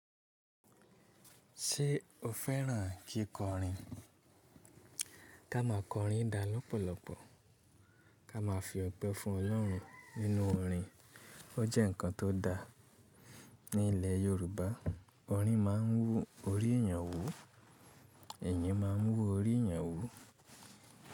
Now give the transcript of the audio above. Ṣé o fẹ́ràn kí kọrin? Ká máa kọrin dá lọ́pọ̀lọpọ̀. Ká máa fi ọ̀pẹ fún Ọlọ́run nínú orin. Ó jẹ́ ǹkan tó da. Ní ilẹ̀ Yorùbá, orin máa ń wú orí èèyàn wú, èèyàn máa ń wú orí èèyàn wú.